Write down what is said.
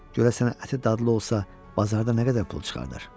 Görəsən əti dadlı olsa, bazarda nə qədər pul çıxardar?